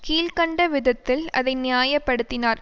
கீழ் கண்ட விதத்தில் அதை நியாய படுத்தினார்